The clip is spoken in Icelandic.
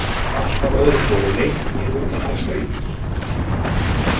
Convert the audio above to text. Alltaf öðru hvoru leit hún niður og sá baunir.